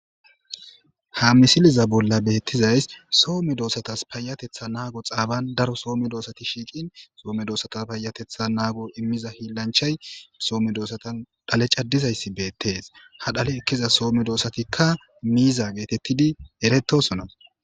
Ha misiliza bolla beettizays soome doossatas payatetha naago xaaban daro soome doosati shiiqin soome doossatas paayatetha naago immiza hiillanchay soome doossatan dhale caddizayssi beettees ha dhale ekkiza soome doosatikka miiza geetettidi erettosona.